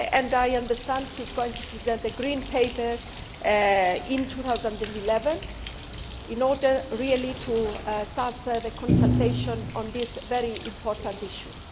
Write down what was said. I understand he is going to present a Green Paper in 2011 in order to start the consultation on this very important issue.